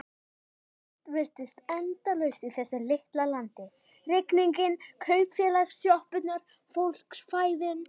Allt virtist endalaust í þessu litla landi: rigningin, kaupfélagssjoppurnar, fólksfæðin.